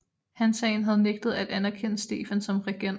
Hansaen havde nægtet at anerkende Stefan som regent